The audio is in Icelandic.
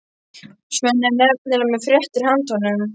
Svenni er nefnilega með fréttir handa honum.